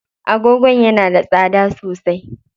Agogon yana da tsada sosai.